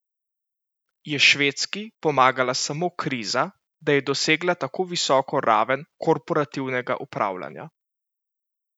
Je Švedski pomagala samo kriza, da je dosegla tako visoko raven korporativnega upravljanja?